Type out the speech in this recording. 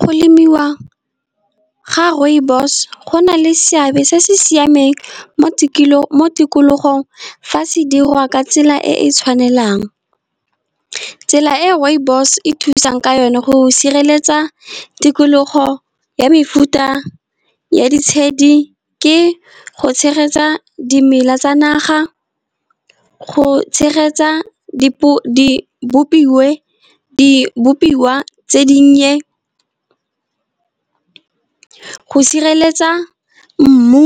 Go lemiwa ga rooibos go na le seabe se se siameng mo tikologong. Fa se dirwa ka tsela e e tshwanelang tsela e rooibos e thusang ka yone, go sireletsa tikologo ya mefuta ya ditshedi, ke go tshegetsa dimela tsa naga, go tshegetsa di bopiwa tse dinnye. Go sireletsa mmu